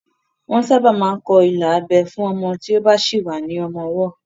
Wọ́n sábà máa ń kọ́ ilà abẹ́ fún ọmọ tí ó bá sì wà ní ọmọ ọwọ́